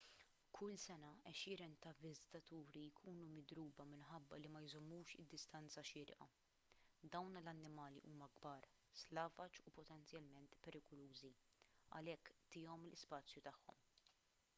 kull sena għexieren ta' viżitaturi jkunu midruba minħabba li ma jżommux id-distanza xierqa dawn l-annimali huma kbar slavaġ u potenzjalment perikolużi għalhekk tihom l-ispazju tagħhom